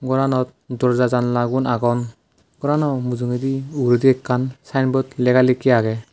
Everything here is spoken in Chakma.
goranot doorja janalagun agon gorano mujungedi uguredi ekkan sign board lega lekke agey.